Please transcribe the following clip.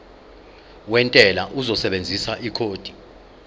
wentela uzosebenzisa ikhodi